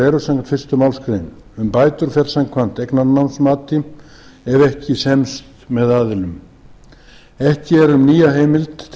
eru samkvæmt fyrstu málsgrein um bætur fer samkvæmt eignarnámsmati ef ekki semst með aðilum ekki er um nýja heimild til